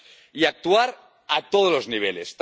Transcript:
Y actuar a todos los niveles.